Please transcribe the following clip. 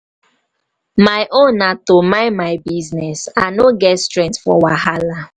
my own na to mind my business. i no get strength for wahala.